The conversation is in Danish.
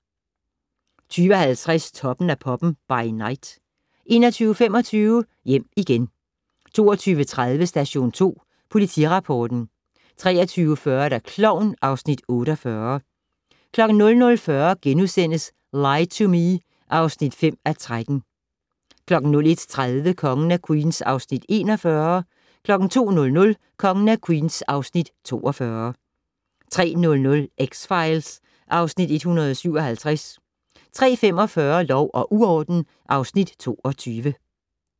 20:50: Toppen af poppen - by night 21:25: Hjem igen 22:30: Station 2 Politirapporten 23:40: Klovn (Afs. 48) 00:40: Lie to Me (5:13)* 01:30: Kongen af Queens (Afs. 41) 02:00: Kongen af Queens (Afs. 42) 03:00: X-Files (Afs. 157) 03:45: Lov og uorden (Afs. 22)